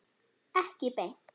Ekki beint.